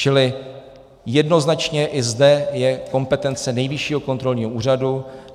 Čili jednoznačně i zde je kompetence Nejvyššího kontrolního úřadu.